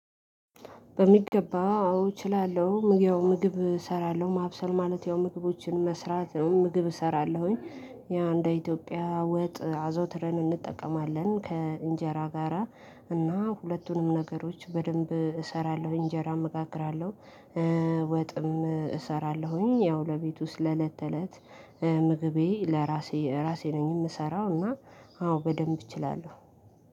በሚገባ አዎ እችላለሁ ምግብ እሰራለሁ ማብሰል ማለት ያው ምግቦችን መስራት ነው ምግብ እሰራለሁኝ። ያ እንደ ኢትዮጵያ ወጥ አዘውትረን እንጠቀማለን ከእንጀራ ጋራ እና ሁለቱንም ነገሮች በደንብ እሰራለሁኝ እንጀራም እጋግራለሁ። ወጥም እሰራለሁኝ ያው ለቤቱ ውስጥ ለለት ተለት። ምግቤ ለራሴ ራሴ ነኝ የምሰራው እና አዎ በደንብ እችላለሁ።